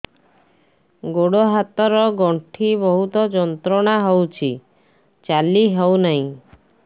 ଗୋଡ଼ ହାତ ର ଗଣ୍ଠି ବହୁତ ଯନ୍ତ୍ରଣା ହଉଛି ଚାଲି ହଉନାହିଁ